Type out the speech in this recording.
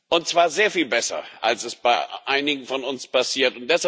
Und zwar sehr viel besser, als es bei einigen von uns passiert.